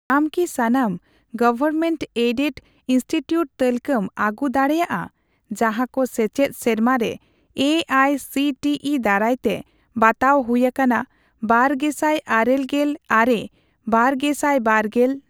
ᱟᱢ ᱠᱤ ᱥᱟᱱᱟᱢ ᱜᱚᱣᱚᱨᱢᱮᱱᱴᱼᱮᱰᱮᱰ ᱤᱱᱥᱴᱤᱴᱤᱭᱩᱴ ᱛᱟᱹᱞᱠᱟᱹᱢ ᱟᱹᱜᱩ ᱫᱟᱲᱮᱭᱟᱜᱼᱟ ᱡᱟᱦᱟᱸᱠᱚ ᱥᱮᱪᱮᱫ ᱥᱮᱨᱢᱟᱨᱮ A I C T E ᱫᱟᱨᱟᱭᱛᱮ ᱵᱟᱛᱟᱣ ᱦᱩᱭ ᱟᱠᱟᱱᱟ ᱵᱟᱨᱜᱮᱥᱟᱭ ᱟᱨᱮᱜᱮᱞ ᱟᱨᱮᱼᱵᱟᱨᱜᱮᱥᱟᱭᱵᱟᱨᱜᱮᱞ ?